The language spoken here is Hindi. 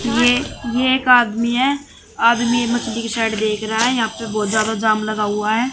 ये ये एक आदमी है आदमी मछली की शर्ट देख रहा है यहां पे बहोत ज्यादा जाम लगा हुआ है।